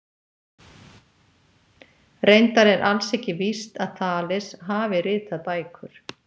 Reyndar er alls ekki víst að Þales hafi ritað bækur.